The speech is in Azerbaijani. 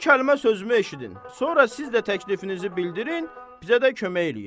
İki kəlmə sözümü eşidin, sonra siz də təklifinizi bildirin, bizə də kömək eləyin.